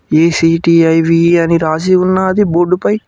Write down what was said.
ఈ_సి_టి_ఐ_వి E అని రాసి ఉన్నాది బోర్డు పై .